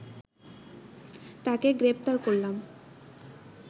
তাকে গ্রেপ্তার করলাম